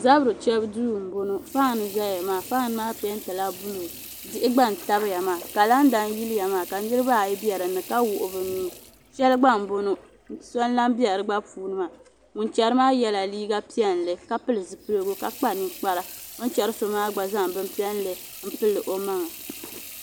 zabiri chɛbu duu m-bɔŋɔ fan n-zaya maa fan peentila buluu diɣi gba n-tabiya maa kalanda n-yiliya maa ka niriba ayi be din ni ka wuɣi bɛ nuu shɛli gba m-bɔŋɔ so n-lahi be di gba puuni maa chɛri maa yɛla liiga piɛlli ka pili zipiligu ka kpa ninkpara o ni chɛri so gba zaŋ bin' piɛlli m-pili o maŋa